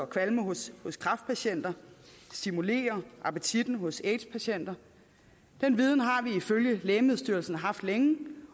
kvalme hos hos kræftpatienter og stimulere appetitten hos aids patienter den viden har vi ifølge lægemiddelstyrelsen haft længe